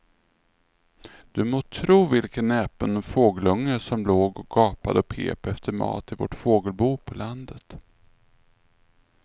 Du må tro vilken näpen fågelunge som låg och gapade och pep efter mat i vårt fågelbo på landet.